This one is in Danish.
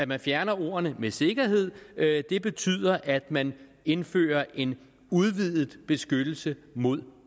man fjerner med sikkerhed det det betyder at man indfører en udvidet beskyttelse mod